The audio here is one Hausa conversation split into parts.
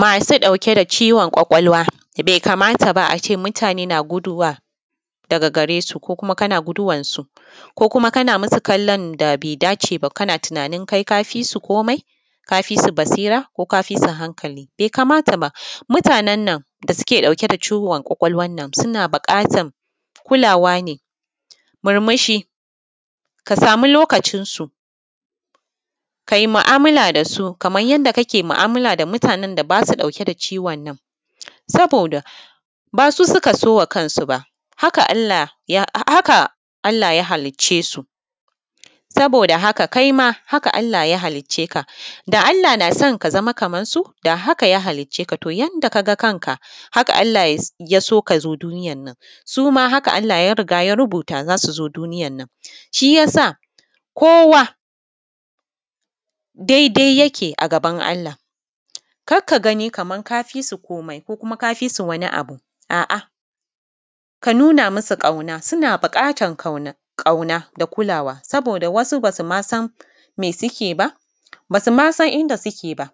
Masu ɗauke da ciwon kwakwalwa bai kamata ba a ce mutane na guduwa daga gare su ko kuma kana guduwansu ko kuma kana mu su kallon da baidace ba, kana tunanin kai kafi su kumai, ka fi su basira, ka fi su hankali, bai kamata ba mutanen nan da suke ɗauke da ciwon kwakwal wannan suna buƙatan kulawa ne murmushi, ka sama lokacinsu kai mu’amala da su kaman yanda kake mu’amala da wanda ba shi ɗauke da wannan ciwon. Saboda ba su suka sa wa kansu ba haka Allah ya halicce su, saboda haka kai ma haka Allah ya halicce ka da Allah na son ka zama kamansu da a haka ya halicce ka. To, haka Allah ya so ka zo duniyan nan suma haka Allah ya riga ya rubuta za su zo duniyan nan shi ya sa kowa dai-dai yake a gaban Allah, kar ka gani kaman ka fi su kumai ko ka fi su wani abu, a’a ka nuna musu ƙauna, suna buƙatan ƙauna da kulawa, saboda wasu ba su ma san me suke yi ba, ba su ma san inda suke ba,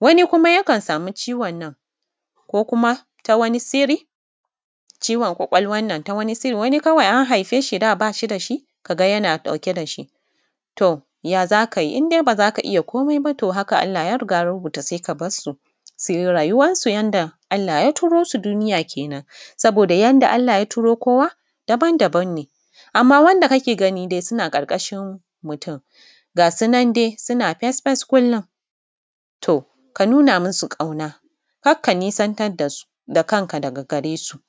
wani kuma yakan sami ciwon nan ko kuma ta wani sirri ciwon kwakwal wannan ta wani siri. A’a wani an haife shi, da ba shi da shi, ka ga yana ɗauke da shi to ya za ka yi indai ba za ka iya komai ba Allah ya riga ya rubuta sai ka bar su, su yi rayuwansu yanda Allah ya turo su duniyan kenan saboda yanda Allah ya turo kowa daban-daban ne, amma wanda kake gani suna ƙarƙashin mutun ga su nan dai suna fesfes kullun to ka nuna musu ƙauna kar ka nesantar da su da kanka, ga da gare su.